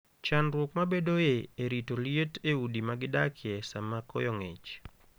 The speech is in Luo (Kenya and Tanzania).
Chandruok mabedoe e rito liet e udi ma gi dakie sama koyo ng'ich.